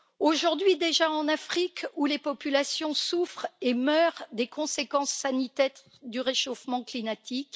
Aujourd'hui déjà, en Afrique, les populations souffrent et meurent des conséquences sanitaires du réchauffement climatique.